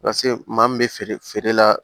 Paseke maa min bɛ feere feere la